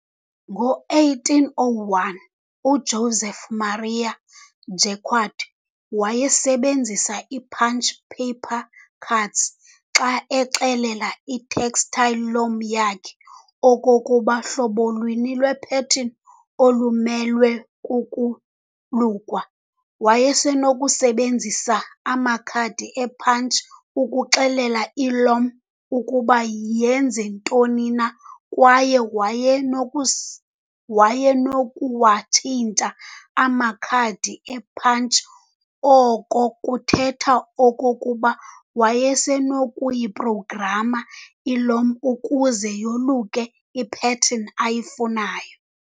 Ngo-1801, uJoseph Marie Jacquard wasebenzisa i-punched paper cards xa exelela i-textile loom yakhe okokuba hlobo luni lwe-pattern olumelwe kukolukwa. wayesenokusebenzisa amakhadi e-punch ukuxelela i-loom ukuba yenze ntoni na, kwaye wayesenokusi wayesenokuwatshintsha amakhadi e-punch, oko kuthethe okokuba wayesenokuyi-programa i-loom ukuze yoluke ipattern ayifunayo.